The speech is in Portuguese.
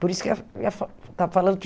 Por isso que eu ia. Estava falando que